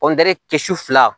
kɔngɔde kɛ su fila